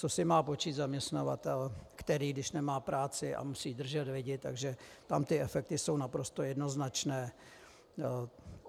Co si má počít zaměstnavatel, který, když nemá práci a musí držet lidi, takže tam ty efekty jsou naprosto jednoznačné.